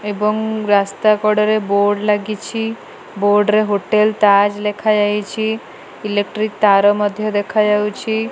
ଏବଂ ରାସ୍ତା କଡ଼ରେ ବୋର୍ଡ ଲାଗିଛି। ବୋର୍ଡ ରେ ହୋଟେଲ୍ ତାଜ୍ ଲେଖାଯାଇଛି। ଇଲେକ୍ଟ୍ରି ତାର ମଧ୍ୟ ଦେଖାଯାଉଛି।